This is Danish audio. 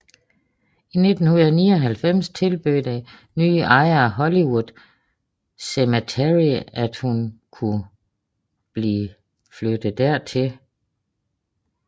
I 1999 tilbød den nye ejer af Hollywood Cemetery at hun kunne blive flyttet dertil